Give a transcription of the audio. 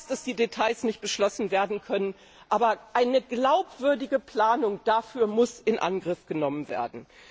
Ich weiß, dass die Details nicht beschlossen werden können, aber eine glaubwürdige Planung dafür muss in Angriff genommen werden.